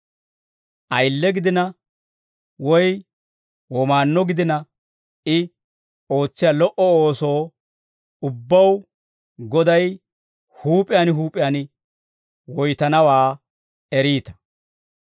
Ayile gidina woy womaannuwaa gidina, I ootsiyaa lo"o ooso ubbaw Goday huup'iyaan huup'iyaan woytanawaa eriita.